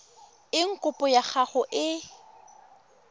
eng kopo ya gago e